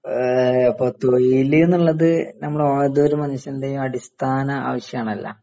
ആ ഇപ്പോ തൊയില് എന്നുള്ളത് നമ്മളേതൊരു മനുഷ്യൻറെയും അടിസ്ഥാന ആവശ്യാണല്ലോ